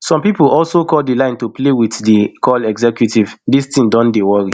some pipo also call di line to play wit di call executives dis tin don dey worry